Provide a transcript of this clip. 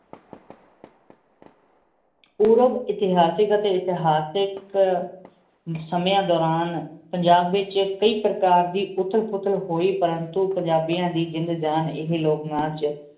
ਪੁਰਬ ਏਥਾਸ੍ਘਾ ਟੀ ਇਤਹਾਸ ਸਮੇਯਨ ਦੁਰਾਨ ਪੰਜਾਬ ਵੇਚ ਕਈ ਪਰਕਾਰ ਦੀ ਉਠੇਲ ਪੁਥੇਲ ਹੁਹੀ ਪਰ ਉਨ੍ਤੁ ਪੁਜਾਬੇਯਨ ਦੀ ਜੰਜਨ ਇਹੀ ਲੋਗ ਨਾਚ